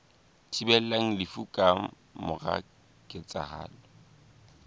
thibelang lefu ka mora ketsahalo